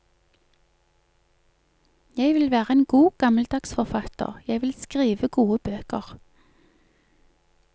Jeg vil være en god, gammeldags forfatter, jeg vil skrive gode bøker.